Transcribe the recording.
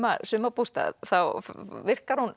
sumarbústað þá virkar hún